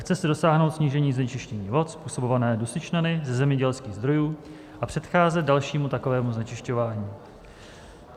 Chce se dosáhnout snížení znečištění vod způsobované dusičnany ze zemědělských zdrojů a předcházet dalšímu takovému znečišťování.